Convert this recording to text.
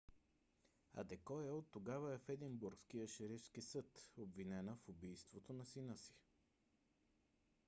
адекоя оттогава е в единбургския шерифски съд обвинена в убийството на сина си